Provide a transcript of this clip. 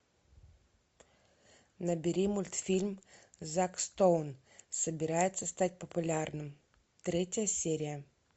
набери мультфильм зак стоун собирается стать популярным третья серия